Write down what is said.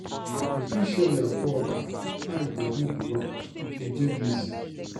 You fit show your co-worker how e go do di work if you dey busy.